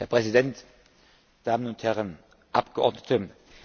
Herr Präsident, meine Damen und Herren Abgeordneten!